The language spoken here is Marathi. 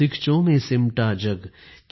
सीखचों में सिमटा जग